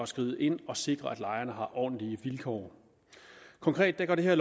skride ind og sikre at lejeren har ordentlige vilkår konkret går det her